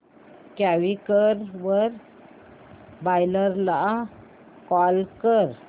Quikr वर buyer ला call कर